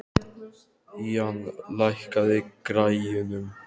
Ían, lækkaðu í græjunum.